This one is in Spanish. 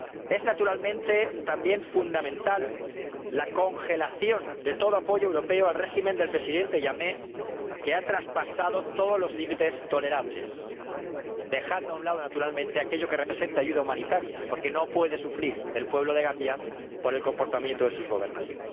Es naturalmente también fundamental la congelación de todo apoyo europeo al régimen del Presidente Jammeh, que ha traspasado todos los límites tolerables —dejando a un lado, naturalmente, aquello que representa ayuda humanitaria, porque no puede sufrir el pueblo de Gambia por el comportamiento de sus gobernantes—.